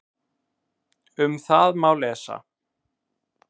Um það má lesa